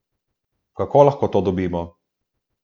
Kako lahko to dobimo?